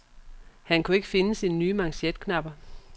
Han kunne ikke finde sine nye manchetknapper.